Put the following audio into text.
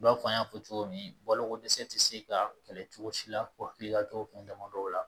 I b'a fɔ an y'a fɔ cogo min baloko dɛsɛ tɛ se ka kɛlɛ cogo si la hakili la cogo min damadɔ la